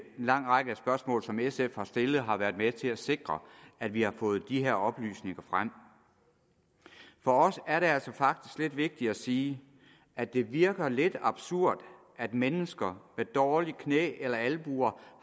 lang række spørgsmål som sf har stillet har været med til at sikre at vi har fået de her oplysninger frem for os er det altså faktisk lidt vigtigt at sige at det virker lidt absurd at mennesker med dårligt knæ eller albue